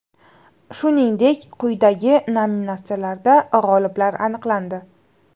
Shuningdek, quyidagi nominatsiyalarda g‘oliblar aniqlandi: !